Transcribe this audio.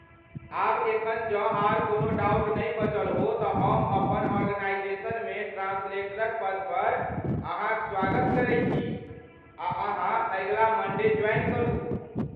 आब एखन जँ आर कोनो डाउट नै बचल हो तँ हम अपन आर्गेनाईजेशनमे ट्रान्सलेटरक पदपर अहाँक स्वागत करै छी आ अहाँ अगिला मण्डे ज्वाइन करू।